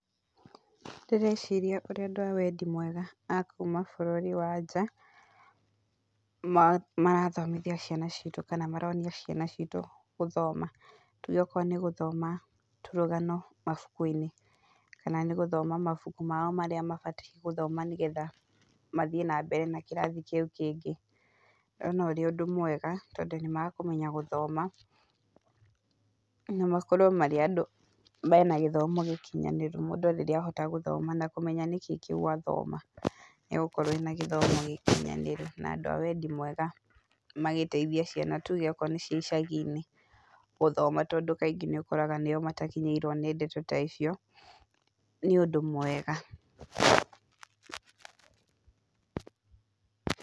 Ndĩreciria ũrĩa andũ a wendi mwega a kuuma bũrũri wa nja, mara marathomithia ciana ciitũ, kana maronia ciana citũ gũthoma, tuuge okorwo nĩ gũthoma tũrũgano mabuku-inĩ, kana nĩ gũthoma mabuku mao marĩa mabatie gũthoma nĩgetha mathiĩ nambere na kĩrathi kĩu kĩngĩ. Ngona ũrĩ ũndũ mwega tondũ nĩ makũmenya gũthoma na makorwo marĩ andũ mena gĩthomo gĩkinyanĩru mũndũ rĩrĩa ahota gũthoma na kũmenya nĩkĩĩ kĩu athoma, nĩ agũkorwo ena gĩthomo gĩkinyanĩru na andũ a wendi mwega magĩteithie ciana tuge okorwo nĩ cia icagi-inĩ gũthoma tondũ kaingĩ nĩ ũkoraga nĩo matakinyĩirwo nĩ ndeto ta icio, nĩ ũndũ mwega.